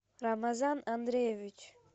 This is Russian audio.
рамазан андреевич